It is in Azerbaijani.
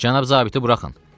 Cənab zabiti buraxın.